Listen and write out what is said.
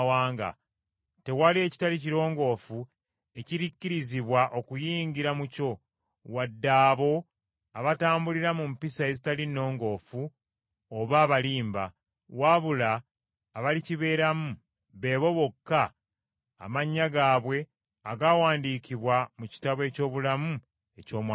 Tewali ekitali kirongoofu ekirikkirizibwa okuyingira mu kyo, wadde abo abatambulira mu mpisa ezitali nnongoofu oba abalimba, wabula abalikibeeramu, beebo bokka, amannya gaabwe agaawandiikibwa mu kitabo eky’obulamu eky’Omwana gw’Endiga.